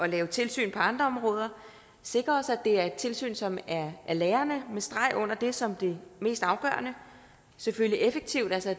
lave tilsyn på andre områder sikrer os at det er et tilsyn som er lærende med streg under det som det mest afgørende og selvfølgelig effektivt altså